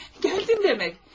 Gəldin demək.